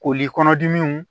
Koli kɔnɔdimiw